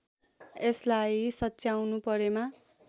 यसलाई सच्याउनु परेमा